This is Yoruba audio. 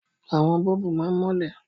Àwọn bọ́ọ̀bù máa ń mọ́lẹ̀.